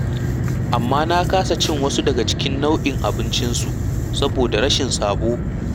Amma na kasa cin wasu daga cikin nau'in abincinsu saboda rashin sabo.